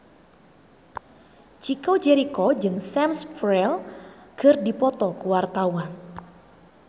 Chico Jericho jeung Sam Spruell keur dipoto ku wartawan